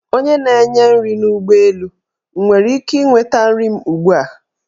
Onye na-enye nri n; ụgbọelu, m nwere ike inweta nri m ugbua?